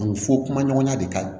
A bɛ fɔ kuma ɲɔgɔnya de ka ɲi